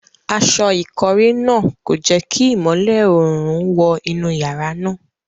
Aṣọ ìkọ́rí náà kò jẹ́ kí ìmọ́lẹ̀ oòrùn wọ inú yàrá náà.